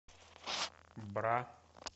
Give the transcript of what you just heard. бра